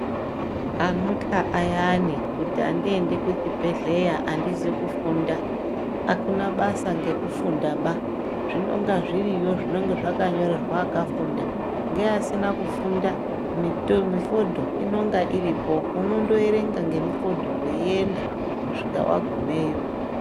Anotya ayani kuti andiendi kuchibhedhlera andizi kufunda, akunabasa ngekufundaba zvinonga zviriyo zvinonga zvakanyorerwa akafunda ngeasina kufunda mifodho inonga iripo, unondoerenga nemifodho weienda kusvika wagumeyo.